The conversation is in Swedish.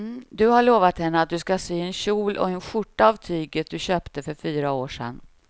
Du har lovat henne att du ska sy en kjol och skjorta av tyget du köpte för fyra år sedan.